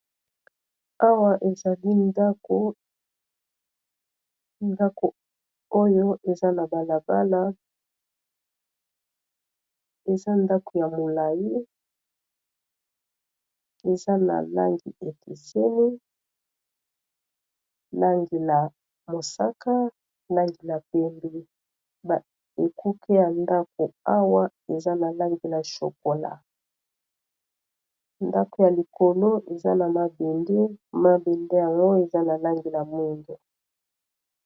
awa ezali ndako ndako oyo eza na balabala eza ndako ya molai eza na langi ekeseni langi ya mosaka langila pembi ekoke ya ndako awa eza na langi la chokola ndako ya likolo eza na mabende mabende nayango eza na langi la mungu